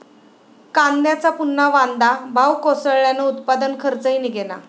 कांद्याचा पुन्हा वांदा, भाव कोसळल्यानं उत्पादन खर्चही निघेना